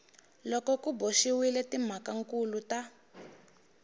loko ku boxiwile timhakankulu ta